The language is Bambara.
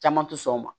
Caman tɛ sɔn o ma